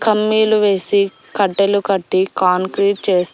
కమ్మీలు వేసి కట్టెలు కట్టి కాంక్రీట్ చేస్తూ.